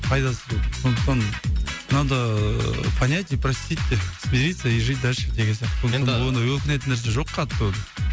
пайдасыз сондықтан надо понять и простить деп смириться и жить дальше деген сияқты енді оны өкінетін нәрсе жоқ қатты оны